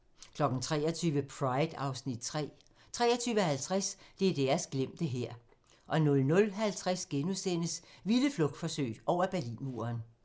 23:00: Pride (Afs. 3) 23:50: DDR's glemte hær 00:50: Vilde flugtforsøg over Berlinmuren *